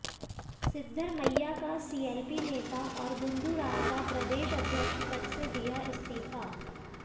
सिद्धरमैया का सीएलपी नेता और गुंडू राव का प्रदेश अध्यक्ष पद से दिया इस्तीफा